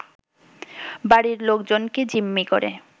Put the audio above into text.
বাড়ির লোকজনকে জিম্মি করে